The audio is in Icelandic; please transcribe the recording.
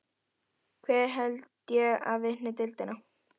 Hver held ég að vinni deildina?